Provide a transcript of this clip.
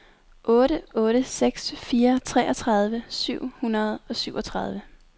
otte otte seks fire treogtredive syv hundrede og syvogtredive